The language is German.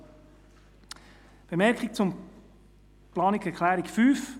Eine Bemerkung zur Planungserklärung 5: